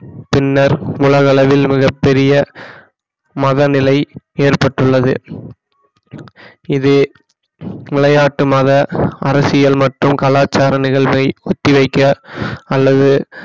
பின்னர் உலக அளவில் மிகப் பெரிய மதநிலை ஏற்பட்டுள்ளது இது விளையாட்டு மத அரசியல் மற்றும் கலாச்சாரம் நிகழ்வை ஒத்திவைக்க அல்லது